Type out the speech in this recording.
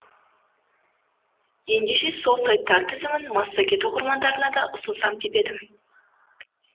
ендеше сол сайттар тізімін массагет оқырмандарына да ұсынсам деп едім